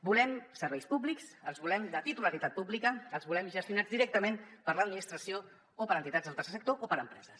volem serveis públics els volem de titularitat pública els volem gestionats directament per l’administració o per entitats del tercer sector o per empreses